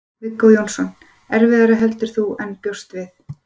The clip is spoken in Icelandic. Viggó Jónsson: Erfiðara heldur en þú bjóst við?